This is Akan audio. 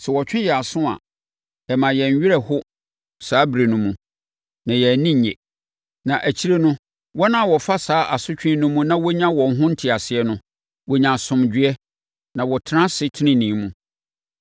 Sɛ wɔtwe yɛn aso a, ɛma yɛn werɛ ho saa ɛberɛ no mu, na yɛn ani nnye. Na akyire no, wɔn a wɔfa saa asotwe no mu na wɔnya wɔn ho nteaseɛ no, wɔnya asomdwoeɛ na wɔtena ase tenenee mu.